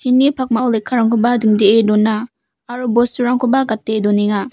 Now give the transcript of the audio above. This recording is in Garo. pakmao lekkarangkoba dingdee dona aro bosturangkoba gate donenga.